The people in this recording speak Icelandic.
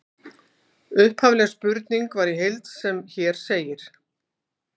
Upphafleg spurning var í heild sem hér segir: